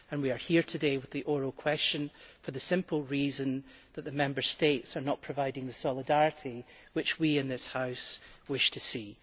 We are here today with the oral question for the simple reason that the Member States are not providing the solidarity which we in this House wish to see.